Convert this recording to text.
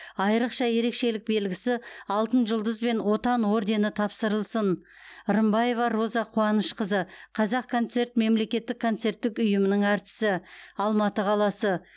айрықша ерекшелік белгісі алтын жұлдыз бен отан ордені тапсырылсын рымбаева роза қуанышқызы қазақконцерт мемлекеттік концерттік ұйымының әртісі алматы қаласы